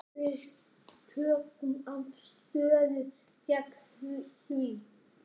Við tökum afstöðu gegn því.